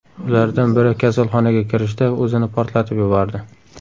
Ulardan biri kasalxonaga kirishda o‘zini portlatib yubordi.